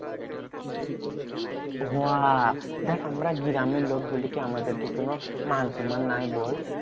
হ্যাঁ দেখ আমরা গ্রামের লোক বলে কি আমাদের কি কোনো মানসন্মান নাই বল?